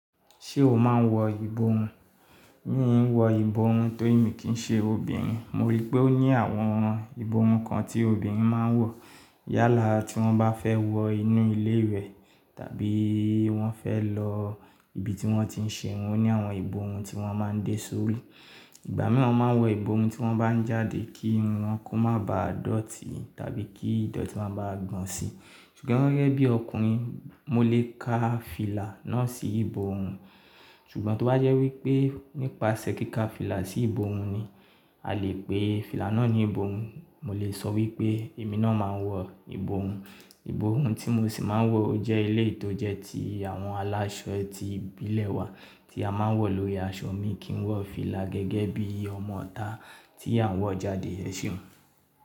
Ṣé o máa ń wọ ìborun? Mìí n wọ ìborun torí mi kìí n ṣe obìnrin. Mo rí pé ó ní àwọn ìbohun kan tí obìnrin máa ń wọ yálà tí wọ́n bá fẹ́ wọ inú ilé ìwẹ̀ tàbí wọ́n fẹ́ lọ ibi tí wọ́n ti ń ṣe irun. Ó ní àwọn ìborun tí wọ́n máa ń dé sórí. Ìgbà mìíràn wọ́n máa ń wọ ìborun tí wọ́n bá ń jáde kí irun wọn kó má baa dọ̀tí tàbí kí ìdọ̀tí má bà gbọ̀n si. Ṣùgbọ́n gegẹ́ bí ọkùnrin, mo lè ka fìlà náà sí ìbohun. Ṣùgbọ́n tó bá jẹ́ wípé nípasẹ̀ kí ka fìlà sí ìborun ni a lè pe fìlà náà ní ìborun, mo lè sọ wípé èmi náà máa ń wọ ìborun. Ìborun tí mo sì máa ń wọ ọ jẹ́ éleyii tó jẹ́ ti àwọn aláṣọ tí ìbílẹ̀ wa tí a máa ń wọ̀ lórí aṣọ mi kì ń wọ fìlà gẹ́gẹ́ bí ọmọ'tá tí à n wọ jàdé ẹ seun.